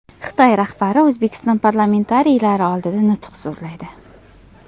Xitoy rahbari O‘zbekiston parlamentariylari oldida nutq so‘zlaydi.